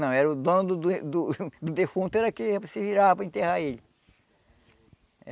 Não, era o dono do do do defunto era que se virava para enterrar ele.